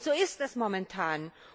Und so ist es momentan.